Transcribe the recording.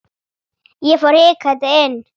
Ég fór hikandi inn.